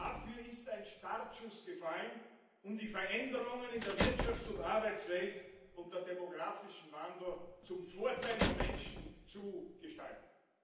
Dafür ist ein Startschuss gefallen, um die Veränderungen in der Wirtschafts und Arbeitswelt unter dem demografischen Wandel zum Vorteil der Menschen zu gestalten.